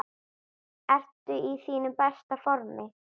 Ertu í þínu besta formi?